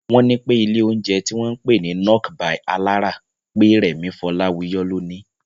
Wọ́n ní pé ilé oúnjẹ tí wọ́n ń pè ní "Nok by Alára" pé Rẹ̀mí Fọláwiyọ́ ló níí